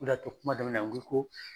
O de y'a to kuma daminɛ na n ko i ko